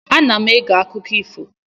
Ana m ege akụkọ ifo.